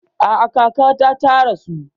A'a kakata ta rasu